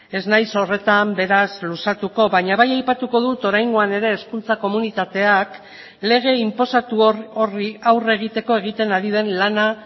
ez naiz horretan beraz luzatuko baina bai aipatuko dut oraingoan ere hezkuntza komunitateak lege inposatu horri aurre egiteko egiten ari den lana